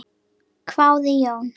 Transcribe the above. hváði Jón.